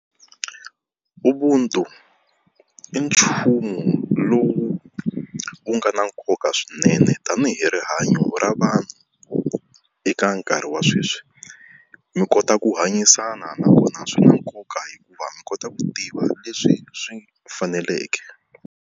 Ubuntu i nchumu lowu wu nga na nkoka swinene tani hi rihanyo ra vanhu eka nkarhi wa sweswi, mi kota ku hanyisana nakona swi na nkoka hikuva mi kota ku tiva leswi swi faneleke.